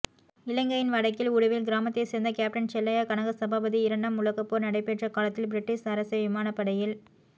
இலங்கையின் வடக்கில் உடுவில் கிராமத்தை சேர்ந்த கேப்டன் செல்லையா கனகசபாபதி இரண்டாம் உலக போர் நடைபெற்ற காலத்தில்பிரிட்டிஷ் அரச விமானப்படையில்